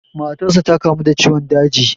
Matarsa da kamu da ciwon daji.